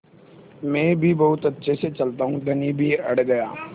मैं भी बहुत अच्छे से चलता हूँ धनी भी अड़ गया